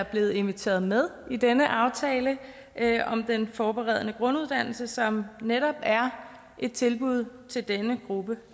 blevet inviteret med i denne aftale om den forberedende grunduddannelse som netop er et tilbud til denne gruppe